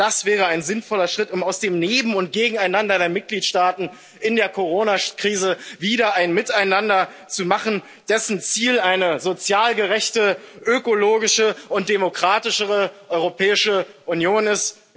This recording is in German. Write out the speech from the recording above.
Aber das wäre ein sinnvoller Schritt, um aus dem Neben und Gegeneinander der Mitgliedstaaten in der Corona Krise wieder ein Miteinander zu machen, dessen Ziel eine sozial gerechte, ökologische und demokratischere Europäische Union ist.